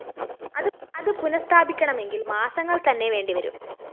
അത് പുനഃസ്ഥാപിക്കണമെങ്കില്‍ മാസങ്ങള്‍ത്തന്നെ വേണ്ടിവരും